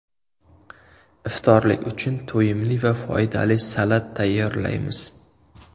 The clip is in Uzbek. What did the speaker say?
Iftorlik uchun to‘yimli va foydali salat tayyorlaymiz.